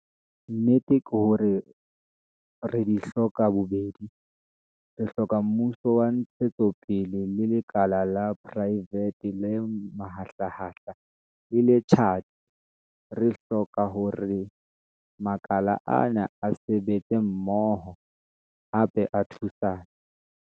Nnete ke hore re di hloka bobedi. Re hloka mmuso wa ntshetsopele le lekala la poraefete le mahlahahlaha le le tjhatsi. Re hloka hore makala ana a sebetse mmoho, hape a thusane.